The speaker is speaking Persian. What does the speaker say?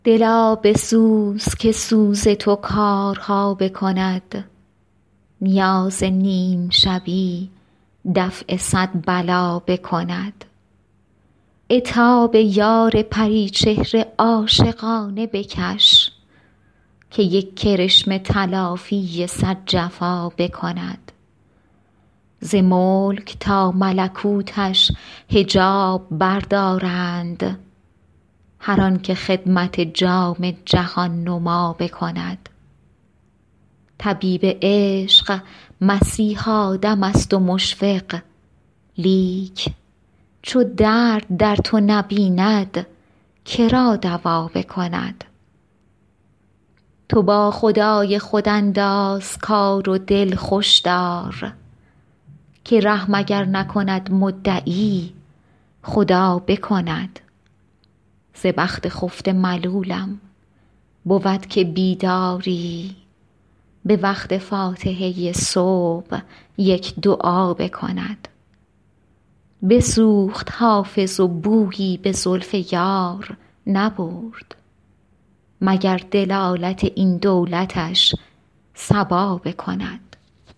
دلا بسوز که سوز تو کارها بکند نیاز نیم شبی دفع صد بلا بکند عتاب یار پری چهره عاشقانه بکش که یک کرشمه تلافی صد جفا بکند ز ملک تا ملکوتش حجاب بردارند هر آن که خدمت جام جهان نما بکند طبیب عشق مسیحا دم است و مشفق لیک چو درد در تو نبیند که را دوا بکند تو با خدای خود انداز کار و دل خوش دار که رحم اگر نکند مدعی خدا بکند ز بخت خفته ملولم بود که بیداری به وقت فاتحه صبح یک دعا بکند بسوخت حافظ و بویی به زلف یار نبرد مگر دلالت این دولتش صبا بکند